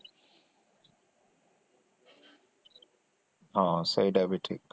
ହଁ ସେଇଟାବି ଠିକ